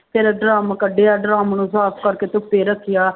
ਫਿਰ ਡਰੰਮ ਕੱਢਿਆ ਡਰੰਮ ਨੂੰ ਸਾਫ਼ ਕਰਕੇ ਧੁੱਪੇ ਰੱਖਿਆ।